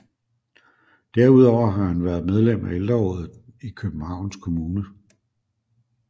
Derudover har han været medlem af Ældrerådet i Københavns Kommune